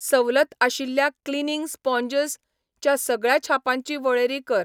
सवलत आशिल्ल्या cleaning sponges च्या सगळ्या छापांची वळेरी कर.